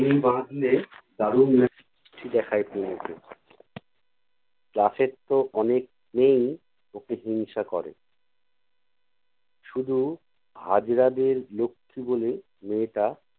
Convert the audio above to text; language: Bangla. চুল বাঁধলে দারুণ দেখায় তনুকে class এর তো অনেক মেয়েই ওকে হিংসা করে শুধু হাজরাদের লক্ষী বলে মেয়েটা